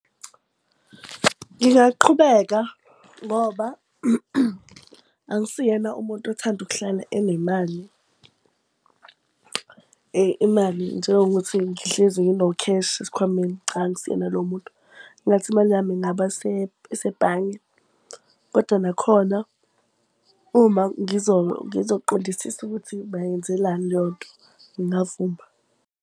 Ngingaqhubeka ngoba angisiyena umuntu othanda ukuhlala enemali. Imali, njengokuthi ngihlezi ngino-cash esikhwameni, cha angisiyena lowo muntu. Kungathi imali yami ingaba sebhange kodwa nakhona uma ngizokuqondisisi ukuthi bayenzelani leyo nto, ngingavuma.